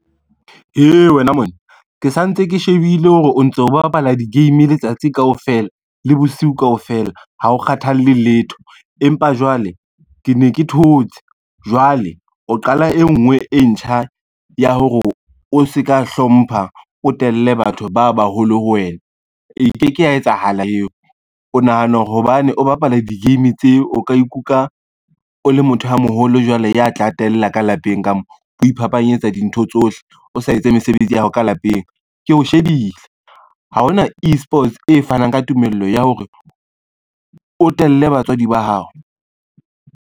He wena monna ke sa ntse ke shebile hore o ntso bapala di-game letsatsi kaofela, le bosiu kaofela ha o kgathalle letho empa jwale ke ne ke thotse. Jwale o qala e ngwe e ntjha ya hore o se ka hlompha, o telle batho ba baholo ho wena e ke ke ya etsahala eo. O nahana hore hobane o bapala di-game tse. O ka ikutlwa o le motho a moholo jwale ya tla tella ka lapeng ka moo, o iphapanyetsa dintho tsohle, o sa etse mesebetsi ya hao ka lapeng, keo shebile ha hona e-sports e fanang ka tumelo ya hore o telele batswadi ba hao.